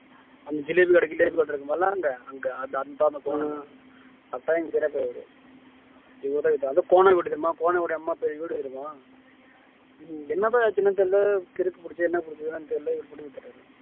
அந்த ஜிலேபி கிடைக்கல ஜிலேபி இருக்கும்ல்ல அங்க அந்தாண்ட போனோம் அதான் எங்க பெரியப்பாவீடு அவரு இவருதான் இவருதான் அது கோனாங்குடி தெரியுமா கோனாங்குடி எம்மா பேரு வீடு தெரியுமா என்னப்பா சின்னம் தெரியல கிறுக்கு புடிச்சு என்ன புடிச்சு இருக்கான்னு தெரியல